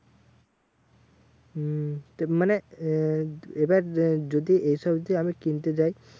হম মানে আহ এবার যদি এইসব যে আমি কিনতে যাই